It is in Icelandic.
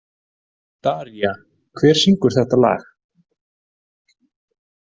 Daría, hver syngur þetta lag?